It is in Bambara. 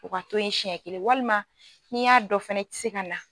U ka to siɲɛ kelen walima n'i y'a don fana i tɛ se ka na.